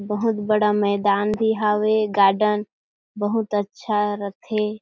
बहुत बड़ा मैदान भी हावे गार्डन बहुत अच्छा रथे।